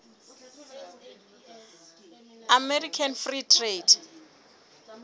american free trade